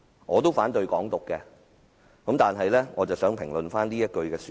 我其實也反對"港獨"，但卻想先評論一下這句說話。